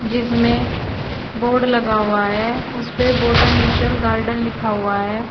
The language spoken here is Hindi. जिसमें बोर्ड लगा हुआ है उस पे बोटैनिशल गार्डन लिखा हुआ है।